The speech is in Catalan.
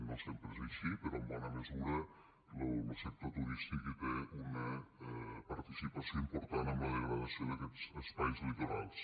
no sempre és així però en bona mesura lo sector turístic hi té una participació important en la degradació d’aquests espais litorals